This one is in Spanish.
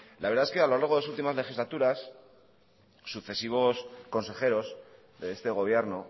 la verdad es que a lo largo de su última legislaturas sucesivos conejeros de este gobierno